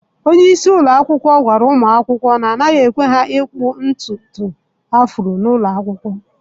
Onye isi ụlọ akwụkwọ gwara ụmụ akwụkwọ na, anaghị ekwe ha ịkpụ ntutu afro n'ụlọ akwụkwọ.